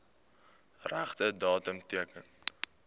regte datum teken